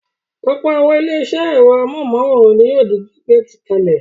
Ọ̀pọ̀ àwọn ilé-iṣẹ́ ẹ̀rọ amóhùmáwòhán ni yóò di gbígbé kalẹ̀.